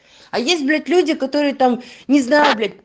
а есть блять люди которые там не знаю блять